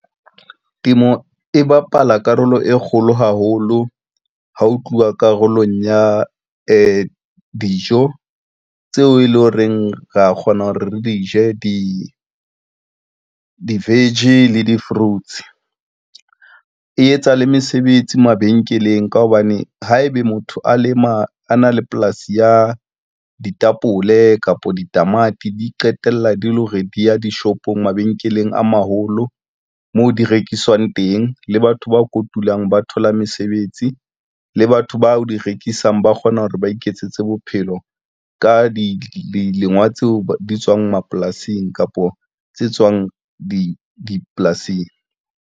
Temo e bapala karolo e kgolo haholo ha ho tluwa karolong ya dijo tseo e leng horeng ra kgona hore re di je dijo, di-vege le di-fruits. E etsa le mesebetsi mabenkeleng ka hobane haebe motho a lema a na le polasi ya ditapole kapa ditamati, di qetella di le hore di ya dishopong mabenkeleng a maholo moo di rekiswang teng. Le batho ba kotulang ba thola mesebetsi le batho bao o di rekisang ba kgona hore ba iketsetse bophelo ka dilengwa tseo di tswang mapolasing kapo tse tswang di dipolasing.